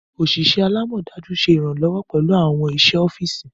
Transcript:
Oṣiṣẹ alamọdaju ṣe iranlọwọ pẹlu awọn iṣẹ ọfisi.